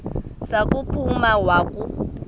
za kuphuma wakhu